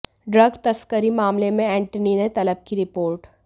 drug तस्करी मामले में एंटनी ने तलब की रिपोर्ट